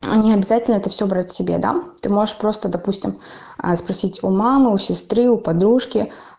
необязательно это все брать себе да ты можешь просто допустим спросить у мамы у сестры у подружки